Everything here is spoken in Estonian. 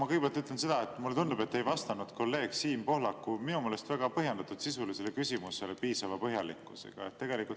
Ma kõigepealt ütlen seda, et mulle tundub, et te ei vastanud kolleeg Siim Pohlaku minu meelest väga põhjendatud sisulisele küsimusele piisava põhjalikkusega.